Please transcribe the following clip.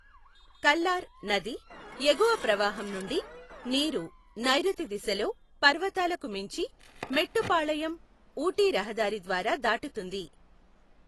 కల్లార్ నది ఎగువ ప్రవాహం నుండి నీరు నైరుతి దిశలో పర్వతాలకు మించి మెట్టుపాళయం ఊటీ రహదారి ద్వారా దాటుతుంది.